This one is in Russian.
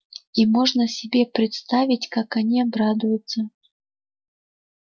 и можно себе представить как они обрадуются